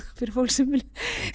fyrir fólk sem vill